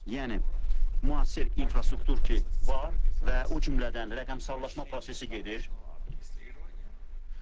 Yəni müasir infrastruktur ki var və o cümlədən rəqəmsallaşma prosesi gedir.